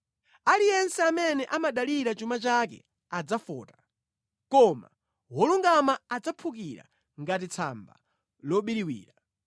Aliyense amene amadalira chuma chake adzafota, koma wolungama adzaphukira ngati tsamba lobiriwira.